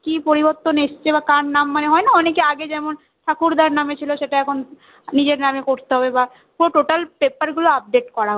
কি পরিবর্তন এসেছে বা কার নাম মানে হয় না অনেকে আগে যেমন ঠাকুর্দার নাম এ ছিল সেটা এখন নিজের নাম এ করতে হবে বা total paper গুলো update করা আর কি